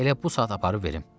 Elə bu saat aparıb verim.